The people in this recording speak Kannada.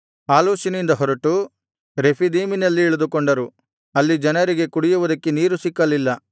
ಆಲೂಷಿನಿಂದ ಹೊರಟು ರೆಫೀದೀಮಿನಲ್ಲಿ ಇಳಿದುಕೊಂಡರು ಅಲ್ಲಿ ಜನರಿಗೆ ಕುಡಿಯುವುದಕ್ಕೆ ನೀರು ಸಿಕ್ಕಲಿಲ್ಲ